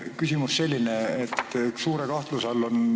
Küsimus on selline.